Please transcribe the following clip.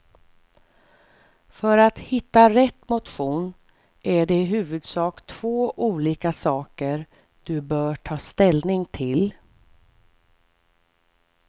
För att hitta rätt motion är det i huvudsak två olika saker du bör ta ställning till.